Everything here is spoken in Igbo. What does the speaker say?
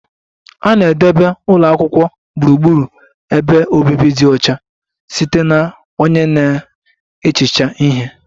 A na-edebe ụlọ akwụkwọ gburugburu ebe obibi dị ọcha site na onye na-ehicha ihe